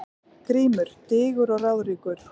GRÍMUR: Digur og ráðríkur